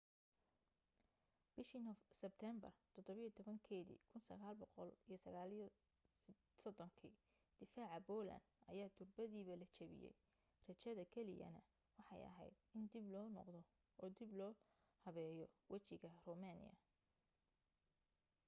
bishii sebtember 17 1939 difaaca poland ayaa durbaba la jebiyey rajada kaliyana waxay ahayd in dib loo noqdo oo dib loo habeeyo wejiga romania